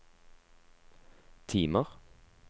timer